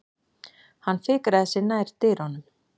Hann fikraði sig nær dyrunum.